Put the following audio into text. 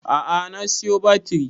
A'a na siyo batiri